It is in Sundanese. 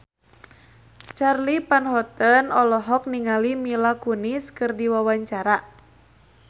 Charly Van Houten olohok ningali Mila Kunis keur diwawancara